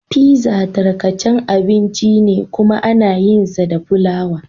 Pizza tarkacan abinci ne kuma ana yinsa da fulawa.